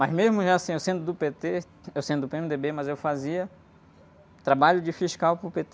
Mas mesmo já, assim, eu sendo do pê-tê, eu sendo do pê-eme-dê-bê, mas eu fazia trabalho de fiscal para pê-tê.